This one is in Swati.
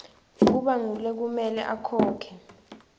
kuba ngulekumele akhokhe